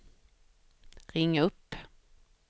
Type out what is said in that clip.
ring upp